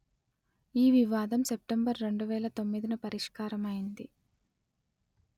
ఈ వివాదం సెప్టెంబర్ రెండు వేల తొమ్మిదిన పరిష్కారమైనది